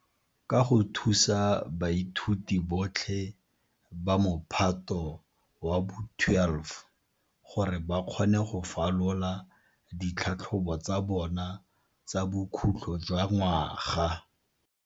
Ke go thusa baithuti botlhe ba Mophato wa bo 12 gore ba kgone go falola ditlhatlhobo tsa bona tsa bokhutlo jwa ngwaga.